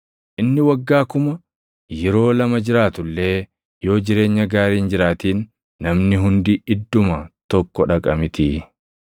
Inni waggaa kuma yeroo lama jiraatu illee yoo jireenya gaarii hin jiraatin, namni hundi idduma tokko dhaqa mitii?